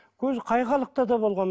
көз қай халықта да болған